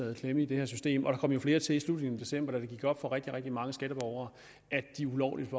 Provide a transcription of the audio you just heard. i klemme i det her system og der kom jo flere til i slutningen af december da det gik op for rigtig rigtig mange skatteborgere at de ulovligt